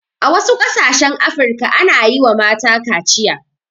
A wasu ƙasashen afirka ana yiwa mata kaciya